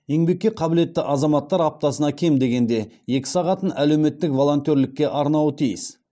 еңбекке қабілетті азаматтар аптасына кем дегенде екі сағатын әлеуметтік волонтерлікке арнауы тиіс